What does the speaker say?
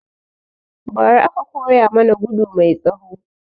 Ba ra aka koya mana gudu mai tsawo